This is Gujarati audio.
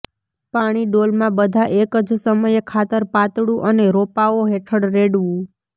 પાણી ડોલમાં બધા એક જ સમયે ખાતર પાતળું અને રોપાઓ હેઠળ રેડવું